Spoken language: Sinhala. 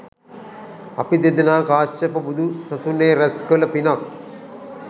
අපි දෙදෙනා කාශ්‍යප බුදු සසුනේ රැස් කළ පිනක්